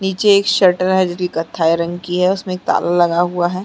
नीचे एक शटर है जो कथाई रंग की है उसमें ताला लगा हुआ हैं ।